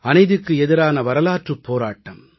அநீதிக்கு எதிரான வரலாற்றுப் போராட்டம்